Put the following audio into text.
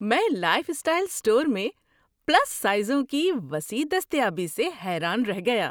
میں lifestyle store میں plus سائزوں کی وسیع دستیابی سے حیران رہ گیا۔